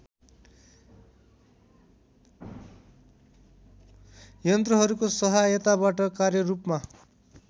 यन्त्रहरूको सहायताबाट कार्यरूपमा